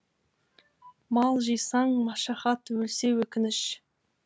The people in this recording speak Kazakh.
мал жисаң машақат өлсе өкініш